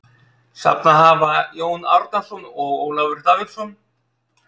Safnað hafa Jón Árnason og Ólafur Davíðsson.